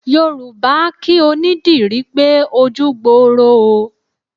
Yorùbá a kí onídìrí pé ojú gboro o.